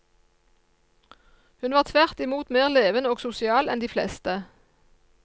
Hun var tvert imot mer levende og sosial enn de fleste.